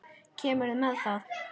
Kemurðu með?